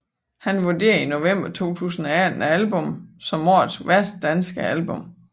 Han vurderede i november 2018 albummet som årets værste danske album